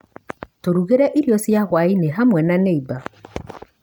Tũrugire irio cia hwainĩ hamwe na nĩimba.